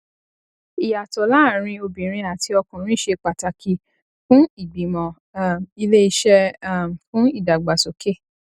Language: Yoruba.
ìyàtọ láàárín obìnrin àti ọkùnrin ṣe pàtàkì fún ìgbìmọ um iléeṣẹ um fún ìdàgbàsókè